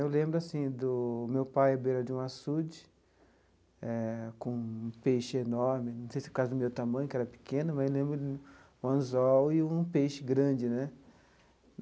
Eu lembro, assim, do meu pai à beira de um açude, eh com um peixe enorme, não sei se por causa do meu tamanho, que era pequeno, mas eu lembro de um anzol e um peixe grande, né?